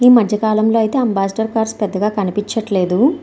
ఈ మధ్యకాలంలో అయితే అంబాసిడర్ కార్లు పెద్దగా కనిపించట్లేదు.